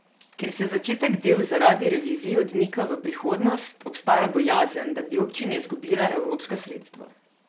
Ker se začetek del zaradi revizij odmika v prihodnost, obstaja bojazen, da bi občine izgubile evropska sredstva.